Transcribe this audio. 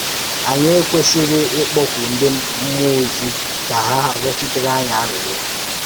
Ànyị e kwesìrì íkpọ́kù ndị mmụọ́-òzi ka hà rịọchiterè ànyị àrịrìọ́